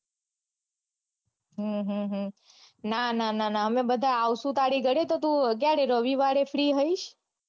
હમ હમ ના ના ના અમે આવસુ તારી ઘરે તો તું ક્યારે રવિવારે free હોઇસ